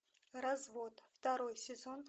развод второй сезон